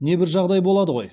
небір жағдай болады ғой